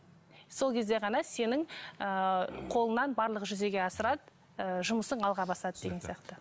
сол кезде ғана сенің ыыы қолыңнан барлығы жүзеге асырады ы жұмысың алға басады деген сияқты